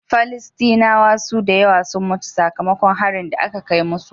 Falastinawa sun dayawa sun mutu saka makon harin da ake kai musu